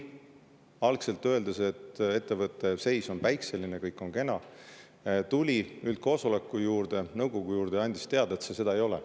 Algselt ütles juhatus, et ettevõtte seis on päikseline, kõik on kena, tuli üldkoosoleku juurde, nõukogu juurde ja andis teada, et see seda ei ole.